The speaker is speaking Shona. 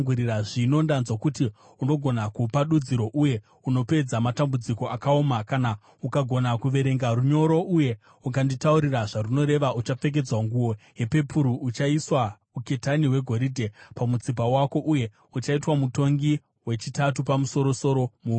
Zvino ndanzwa kuti unogona kupa dudziro uye unopedza matambudziko akaoma. Kana ukagona kuverenga runyoro uye ukanditaurira zvarunoreva, uchapfekedzwa nguo yepepuru, uchaiswa uketani hwegoridhe pamutsipa wako, uye uchaitwa mutongi wechitatu wapamusoro-soro muumambo.”